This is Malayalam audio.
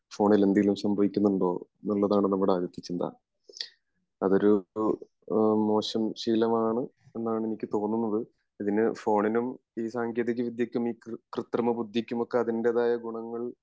ഫോണിൽ എന്തെങ്കിലും സംഭവിക്കുനുണ്ടോ എന്നുള്ളതാണ് നമ്മുടെ ആദ്യത്തെ ചിന്ത അതൊരു മോശം ശീലമാണ് എന്നാണ് എനിക്ക് തോന്നുന്നത് അതിന് ഫോണിനും ഈ സാങ്കേതിക വിദ്യക്കും കൃതൃമ ബുദ്ധിക്കും ഒക്കെ അതിൻ്റെതായ ഗുണങ്ങൾ